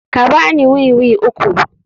Ka ba ni wiwi uku.